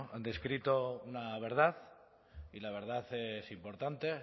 han descrito una verdad y la verdad es importante